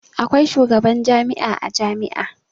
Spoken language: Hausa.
Akwai shugaban jami'a a jami'a.